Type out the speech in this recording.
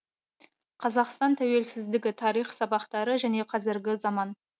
қазақстан тәуелсіздігі тарих сабақтары және қазіргі заман